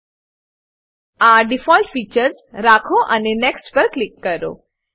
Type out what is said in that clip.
આ default features મૂળભૂત ફીચરો રાખો અને નેક્સ્ટ પર ક્લિક કરો